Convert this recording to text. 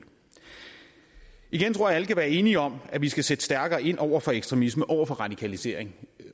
igen tror alle kan være enige om at vi skal sætte stærkere ind over for ekstremisme over for radikalisering